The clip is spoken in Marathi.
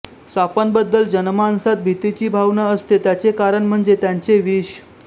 सापांबद्दल जनमानसात भीतीची भावना असते त्याचे कारण म्हणजे त्यांचे विष